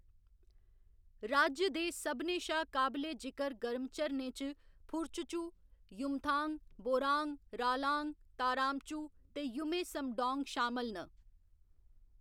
राज्य दे सभनें शा काबले जिकर गर्म झरनें च फुरचचू, युमथांग, बोरांग, रालांग, ताराम चू ते युमे समडौंग शामल न।